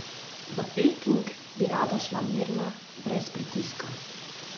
V Peking bi rada šla mirna, brez pritiska.